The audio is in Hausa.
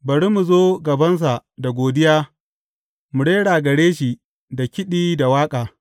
Bari mu zo gabansa da godiya mu rera gare shi da kiɗi da waƙa.